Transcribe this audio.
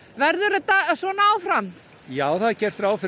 verður þetta svona áfram já það er gert ráð fyrir